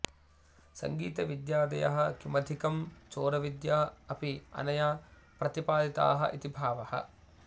सङ्गीतविद्यादयः किमधिकं चोरविद्या अपि अनया प्रतिपदिताः इति भावः